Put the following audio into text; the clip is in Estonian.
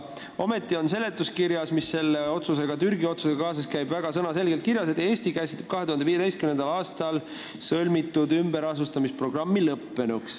Ometi on seletuskirjas, mis selle Türgi-otsusega kaasas käib, väga sõnaselgelt kirjas, et Eesti käsitleb 2015. aastal sõlmitud ümberasustamisprogrammi lõppenuna.